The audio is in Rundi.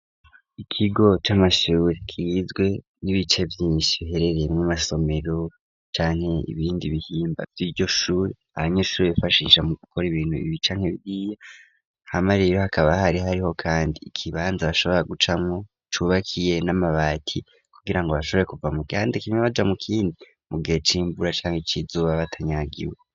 Ikigo c'amashure kizwe n'ibice vyinshi biherereye mw'amasomero, canke ibindi bihimba vy'iryoshure abanyeshure bifashisha mu gukora ibintu canke biriya, hamarero hakaba hari hariho kandi ikibanza bashobora gucamwo cubakiye n'amabati, kugira ngo bashobore kuva mugihande kimwe baja mu kindi mu gihe c'imvura canke ic'izuba batanyagiwe.